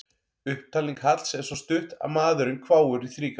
Upptalning Halls er svo stutt að maðurinn hváir í þrígang.